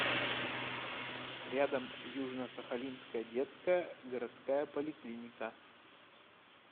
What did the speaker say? рядом южно сахалинская детская городская поликлиника